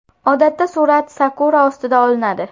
Odatda surat sakura ostida olinadi.